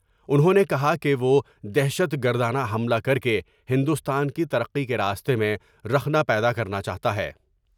انھوں نے کہا کہ وہ دہشت گردانہ حملا کر کے ہندوستان کی ترقی کے راستے میں رخنہ پیدا کرنا چاہتا ہے ۔